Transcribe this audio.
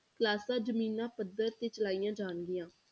Classes ਜ਼ਮੀਨਾਂ ਪੱਧਰ ਤੇ ਚਲਾਈਆਂ ਜਾਣਗੀਆਂ।